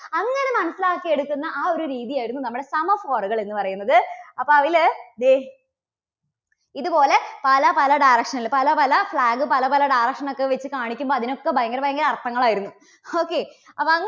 അങ്ങനെ മനസ്സിലാക്കി എടുക്കുന്ന ആ ഒരു രീതിയായിരുന്നു നമ്മുടെ semaphore കൾ എന്നുപറയുന്നത്. അപ്പോൾ അതില് ദേ ഇതുപോലെ പല പല direction കള് പല പല flag പല പല direction ൽ ഒക്കെ വെച്ച് കാണിക്കുമ്പോൾ അതിനൊക്കെ ഭയങ്കര ഭയങ്കര അർഥങ്ങൾ ആയിരുന്നു okay അപ്പോൾ അങ്ങനെ